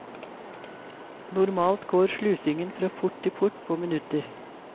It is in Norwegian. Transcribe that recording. Normalt går slusingen fra port til port på minutter.